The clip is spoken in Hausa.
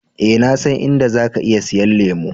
Eh, na san in da zaka iya siyan lemu.